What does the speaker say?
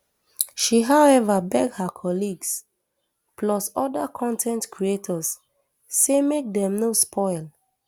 she however beg her colleagues plus oda con ten t creators say make dem no spoil